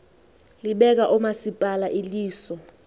libeka oomasipala iliso